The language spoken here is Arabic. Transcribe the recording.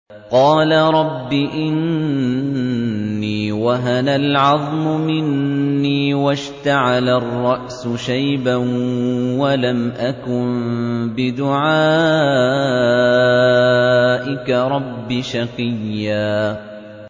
قَالَ رَبِّ إِنِّي وَهَنَ الْعَظْمُ مِنِّي وَاشْتَعَلَ الرَّأْسُ شَيْبًا وَلَمْ أَكُن بِدُعَائِكَ رَبِّ شَقِيًّا